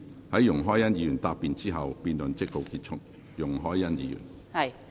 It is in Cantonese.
在容海恩議員答辯後，辯論即告結束。